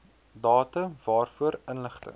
datum waarvoor inligting